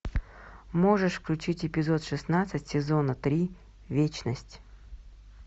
можешь включить эпизод шестнадцать сезона три вечность